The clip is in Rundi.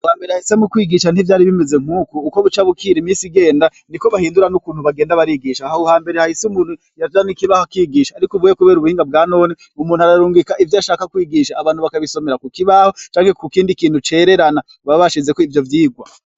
Ha mbere hahise mu kwigisha ntivyari bimeze nk'uku uko bucabukira imisi igenda ni ko bahindura n'ukuntu bagenda barigisha hahuhambere hahise umuntu yajana ikibaho kwigisha, ariko uvuye, kubera ubuhinga bwa none umuntu ararungika ivyo ashaka kwigisha abantu bakabisomera ku kibaho canke ku kindi kintu cererana babashizeko ivyo vyigwa.